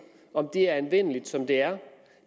er anvendeligt som det